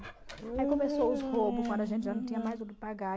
Aí começou os roubos, quando a gente já não tinha mais o que pagar.